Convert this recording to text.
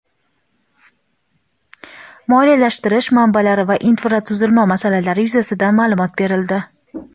moliyalashtirish manbalari va infratuzilma masalalari yuzasidan ma’lumot berildi.